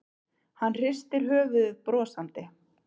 Hann hristir höfuðið brosandi.